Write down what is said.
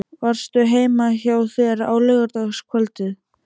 Varstu heima hjá þér á laugardagskvöldið?